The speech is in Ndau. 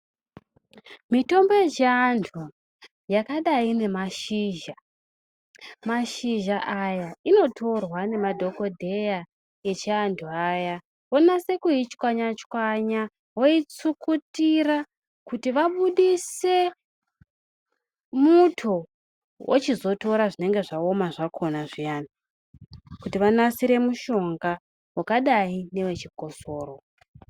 Mitombo yechiantu yakadai nemashizha , mashizha aya inotorwa nemadhokodheya yechiantu aya vonase kuichwanya chwanya voisukutira kuti vabudise muto vachizotora zvinenge zvaoma zvakona zviyani kuti vanasire mushonga wakadai newechikosoro